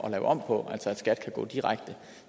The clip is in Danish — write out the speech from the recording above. at lave om på så skat kan gå direkte